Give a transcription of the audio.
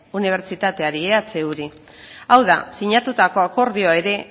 unibertsitateari ehuri hau da sinatutako akordioa ere